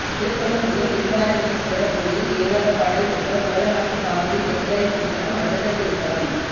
திருக்கொள்ளம்புதூர் வில்வாரண்யேஸ்வரர் கோயில் தேவாரப்பாடல் பெற்ற சோழநாட்டு காவிரி தென்கரைத் திருத்தலம் அடுத்த திருத்தலம்